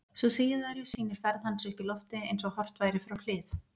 Sú síðari sýnir ferð hans upp í loftið eins og horft væri frá hlið.